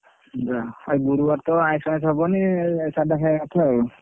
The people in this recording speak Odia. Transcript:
ଆଜି ଗୁରୁବାର ତ ଆଇଷ ମାଇଶ ହବନି ସାଧା ଖାଇ ଆ କଥା ଆଉ।